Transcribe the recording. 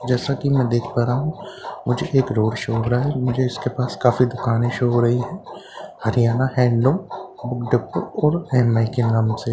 जैसा कि मैं देख पा रहा हूं मुझे एक रोड शो हो रहा है मुझे इसके पास काफ़ी दुकानें शो हो रही है हरियाणा हैंडलूम के नाम से --